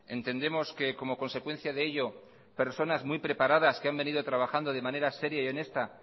entendemos que como consecuencia de ello personas muy preparadas que han venido trabajando de manera seria y honesta